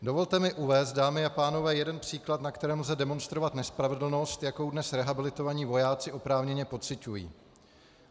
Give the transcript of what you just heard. Dovolte mi uvést, dámy a pánové, jeden příklad, na kterém lze demonstrovat nespravedlnost, jakou dnes rehabilitovaní vojáci oprávněně pociťují.